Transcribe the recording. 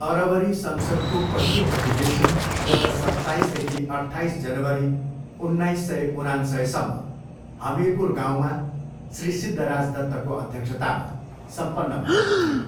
अरवरी संसद्को पहिलो अधिवेशन गत सत्ताइसदेखि अट्ठाइस जनवरी उन्नाइस सय उनान्सयसम्म हमिरपुर गाउँमा श्री सिद्धराज दत्तको अध्यक्षतामा सम्पन्न भएको थियो।